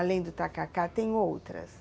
Além do tacacá, tem outras?